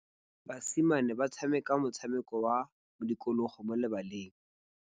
Basimane ba tshameka motshameko wa modikologô mo lebaleng.